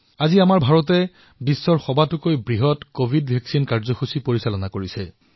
আজি ভাৰতে বিশ্বৰ সবাতোকৈ বৃহৎ কভিড টীকাকৰণ কাৰ্যসূচী প্ৰণয়ন কৰিছে